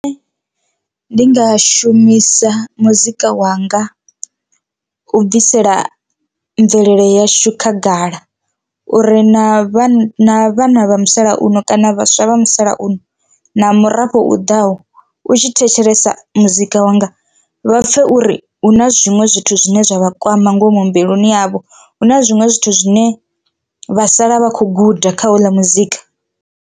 Ndi nga shumisa muzika wanga u bvisela mvelele yashu khagala uri na vhana vhana vha musalauno kana vhaswa vha musalauno na murafho u ḓaho u tshi thetshelesa muzika wanga vha pfhe uri hu na zwiṅwe zwithu zwine zwa vha kwama ngomu mbiluni yavho, hu na zwiṅwe zwithu zwine vha sala vha kho guda kha houḽa muzika.